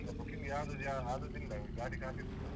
ಈಗ booking ಯಾವ್ದೂ ಯಾ ಆದದ್ದಿಲ್ಲ, ಗಾಡಿ ಖಾಲಿ ಉಂಟು.